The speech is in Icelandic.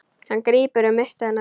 Hann grípur um mitti hennar.